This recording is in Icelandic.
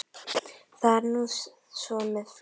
Það er nú svo með fleiri.